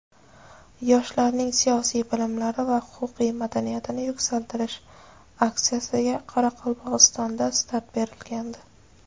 "Yoshlarning siyosiy bilimlari va huquqiy madaniyatini yuksaltirish" aksiyasiga Qoraqalpog‘istonda start berilgandi.